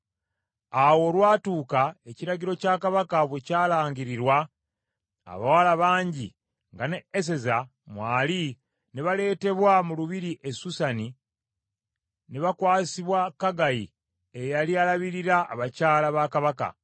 Awo olwatuuka ekiragiro kya Kabaka bwe kyalangirirwa, abawala bangi, nga ne Eseza mwali ne baleetebwa mu lubiri e Susani ne bakwasibwa Kegayi eyali alabirira abakyala ba Kabaka.